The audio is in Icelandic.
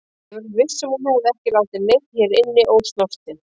Ég er viss um að hún hefur ekki látið neinn hérna inni ósnortinn.